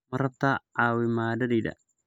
Ma rabtaa caawimadayda?